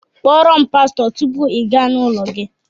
Kpọọ ro'm pasto tupu i gá n'ụlọ gi!